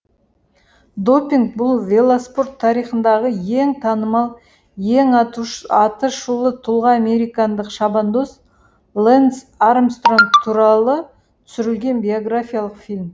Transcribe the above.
допинг бұл велоспорт тарихындағы ең танымал ең атышулы тұлға американдық шабандоз лэнс армстронг туралы түсірілген биографиялық фильм